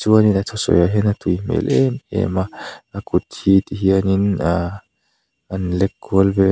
chuanin a thusawi ah hian a tui hmel em em a a kut hi ti hian in aa an lek kual vel--